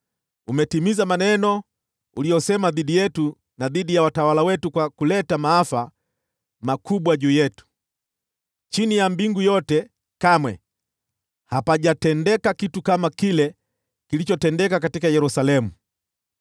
Umetimiza maneno uliyosema dhidi yetu na dhidi ya watawala wetu, kwa kuleta maafa makubwa juu yetu. Chini ya mbingu yote kamwe hapajatendeka kitu kama kile kilichotendeka kwa Yerusalemu.